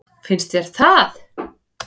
Finnst þér það?